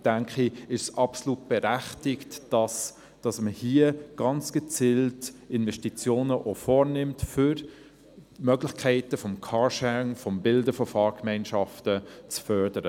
Deshalb denke ich, es sei absolut berechtigt, dass man hier ganz gezielt auch Investitionen vornimmt, um die Möglichkeiten des Carsharings, des Bildens von Fahrgemeinschaften, zu fördern.